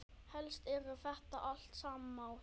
Helst eru þetta allt smámál.